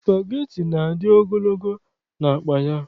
Spageti na-adị ogologo n'akpa ya.